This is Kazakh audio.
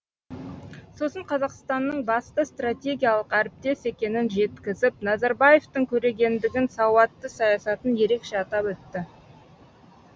сосын қазақстанның басты стратегиялық әріптес екенін жеткізіп назарбаевтың көрегендігін сауатты саясатын ерекше атап өтті